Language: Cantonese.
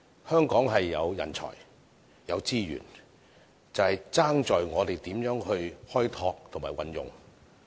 香港有人才、資源，只欠我們如何開拓和運用。